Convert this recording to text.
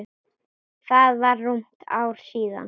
Það var rúmt ár síðan.